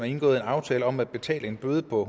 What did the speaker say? indgået en aftale om at betale en bøde på